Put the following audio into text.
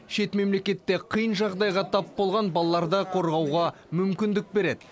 шет мемлекетте қиын жағдайға тап болған балаларды қорғауға мүмкіндік береді